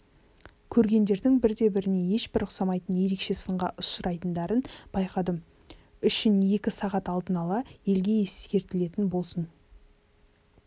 көргендердің бірде-біріне ешбір ұқсамайтын ерекше сынға ұшырайтындарын байқадым үшін екі сағат алдын ала елге ескертілетін болсын